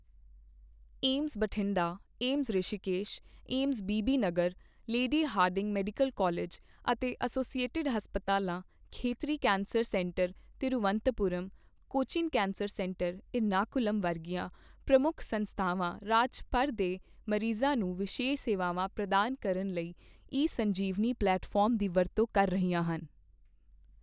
AIIMS Bathinda, AIIMS Rishikesh, AIIMS Bibinagar, lady Hardinge medical college ਅਤੇ associated ਹਸਪਤਾਲਾਂ, ਖੇਤਰੀ cancer centre Thiruvananthapuram, Cochin cancer centre Ernakulam ਵਰਗੀਆਂ ਪ੍ਰਮੁੱਖ ਸੰਸਥਾਵਾਂ ਰਾਜ ਭਰ ਦੇ ਮਰੀਜ਼ਾਂ ਨੂੰ ਵਿਸ਼ੇਸ਼ ਸੇਵਾਵਾਂ ਪ੍ਰਦਾਨ ਕਰਨ ਲਈ ਈ ਸੰਜੀਵਨੀ ਪਲੇਟਫਾਰਮ ਦੀ ਵਰਤੋਂ ਕਰ ਰਹੀਆਂ ਹਨ।